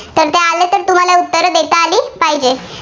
तर ते आले तर तुम्हाला उत्तरं देता आली पाहिजे.